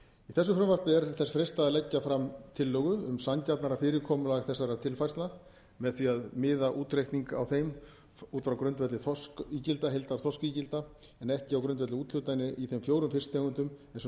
leggja fram tillögu um sanngjarnara fyrirkomulag þessara tilfærslna með því að miða útreikning á þeim út frá grundvelli heildarþorskígilda en ekki á grundvelli úthlutana í þeim fjórum fisktegundum eins og